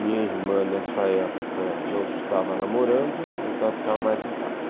Minha irmã, nessa época, não estava namorando, então ela ficava mais em casa.